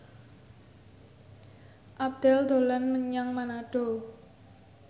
Abdel dolan menyang Manado